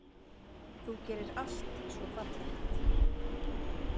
Þú gerir allt svo fallegt.